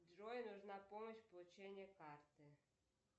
джой нужна помощь в получении карты